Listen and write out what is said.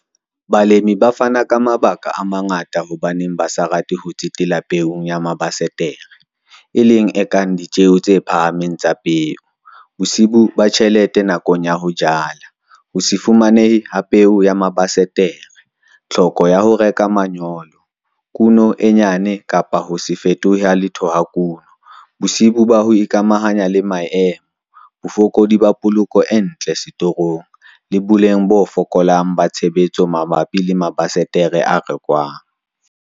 Balemi ba fana ka mabaka a mangata hobaneng ba sa rate ho tsetela peong ya mabasetere, e leng a kang ditjeo tse phahameng tsa peo, bosiyo ba tjhelete nakong ya ho jala, ho se fumanehe ha peo ya mabasetere, tlhoko ya ho reka manyolo, kuno e nyane kapa ho se fetohe ha letho ha kuno, bosiyo ba ho ikamahanya le maemo, bofokodi ba poloko e ntle setorong, le boleng bo fokolang ba tshebetso mabapi le mabasetere a rekwang.